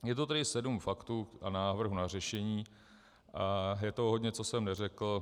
Je to tedy sedm faktů a návrhů na řešení a je toho hodně, co jsem neřekl.